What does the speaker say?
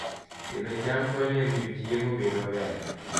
Pidho cham konyo e miyo chiemo obed maber